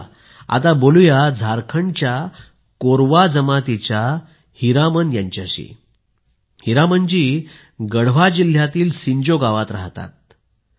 चला आता बोलूया झारखंडच्या कोरवा जमातीच्या हीरामन यांच्याशी हीरामन जी गढ़वा जिल्ह्यातील सिंजो गावात राहतात